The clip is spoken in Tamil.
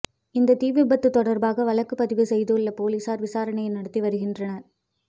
இந்த தீவிபத்து தொடர்பாக வழக்கு பதிவு செய்துள்ள பொலிசார் விசாரணை நடத்தி வருகின்றனர்